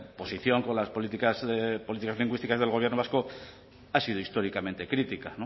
posición con las políticas lingüísticas del gobierno vasco ha sido históricamente crítica